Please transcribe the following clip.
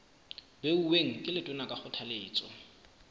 beuweng ke letona ka kgothaletso